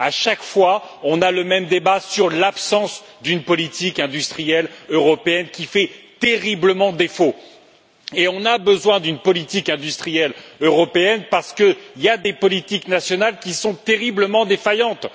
À chaque fois, on a le même débat sur l'absence d'une politique industrielle européenne qui fait terriblement défaut et sur la nécessité d'une politique industrielle européenne parce qu'il y a des politiques nationales qui sont terriblement défaillantes.